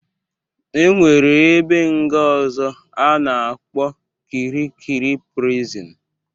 E nwere ebe nga ọzọ a na-akpọ Kirikiri prison.